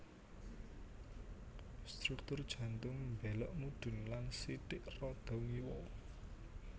Struktur jantung mbélok mudhun lan sithik rada ngiwa